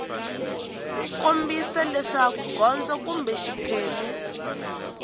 kombisa leswaku gondzo kumbe xiphemu